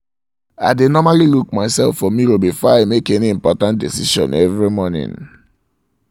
i dae normally look myself for mirror before i make any important decision every morning